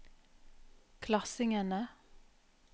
klassingene